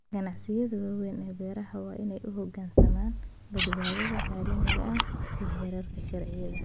Ganacsiyada waaweyn ee beeraha waa inay u hoggaansamaan badbaadada caalamiga ah iyo heerarka sharciyeed.